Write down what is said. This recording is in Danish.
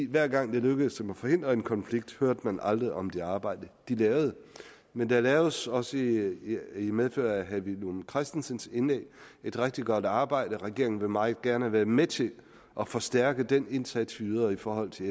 hver gang det lykkedes dem at forhindre en konflikt hørte man aldrig om det arbejde de lavede men der laves også i i medfør af herre villum christensens indlæg et rigtig godt arbejde og regeringen vil meget gerne være med til at forstærke den indsats vi yder i forhold til